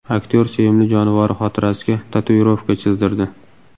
Aktyor sevimli jonivori xotirasiga tatuirovka chizdirdi.